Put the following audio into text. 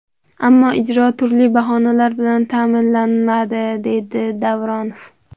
Ammo ijro turli bahonalar bilan ta’minlanmadi”, deydi Davronov.